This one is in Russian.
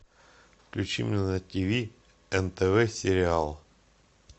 включи мне на тв нтв сериал